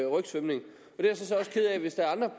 rygsvømning